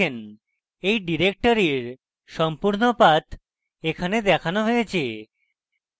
এই directory সম্পূর্ণ path এখানে দেখানো হয়েছে